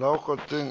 la gauteng